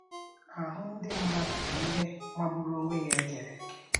Ahụ́ ndị mmadụ bụ ihe magburu onwe ya e kere eke!